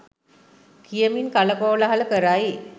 කියමින් කලකෝලාහල කරයි.